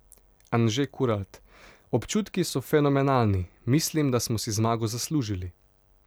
Anže Kuralt: 'Občutki so fenomenalni, mislim, da smo si zmago zaslužili.